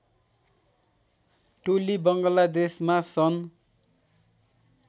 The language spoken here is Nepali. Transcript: टोली बङ्गलादेशमा सन्